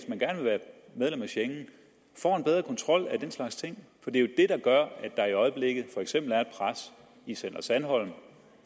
være medlem af schengen får en bedre kontrol af den slags ting for det er der gør at der i øjeblikket for eksempel er et pres i center sandholm